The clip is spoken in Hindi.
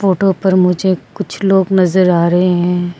फोटो पर मुझे कुछ लोग नजर आ रहे हैं।